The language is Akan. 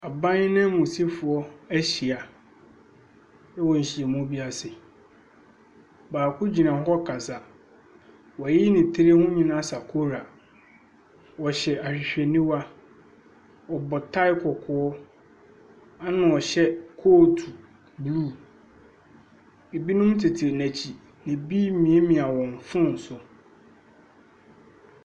Aban nanmusifoɔ ahyia wɔ nhyiamu ase. Baako gyina hɔ ɛkasa. W'ato ne tiri ho nyinaa sakora. Ɔhyɛ ahwehwɛniwa, ɔbɔ tai kɔkɔɔ ɛna ɔhyɛ kot buluu. Ebi mo tete n'akyi. Ebi nie mia wɔn fon so.